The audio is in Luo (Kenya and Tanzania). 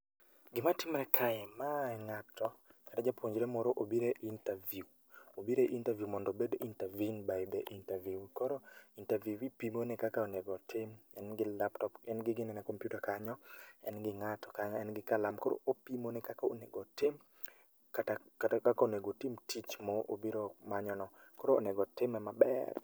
Gimatimre kae, mae ng'ato, ka japuonjre moro obire interview obire interview mondo obed interviewed by the interviewee koro interviewee pimone kaka onego otim en gi laptop en gi ginene kompiuta kanyo, en gi ng'ato kanyo en gi kalam koro opimone kaka onego otim. Kata kata kaka onego otim tich mo obiro manyo no. Koro onego otime maber